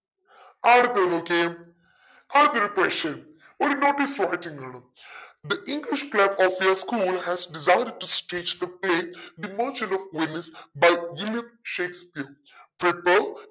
ആ ഒരു page നോക്കിയേ അടുത്തത്തൊരു ഒരു question ഒരു notice format ഉം കാണാം the english club of your school has decided to stagethe play the merchant of Venice by William Shakespeare